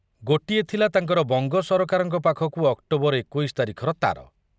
ଗୋଟିଏ ଥିଲା ତାଙ୍କର ବଙ୍ଗ ସରକାରଙ୍କ ପାଖକୁ ଅକ୍ଟୋବର ଏକୋଇଶି ତାରିଖର ତାର